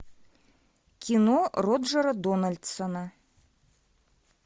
кино роджера дональдсона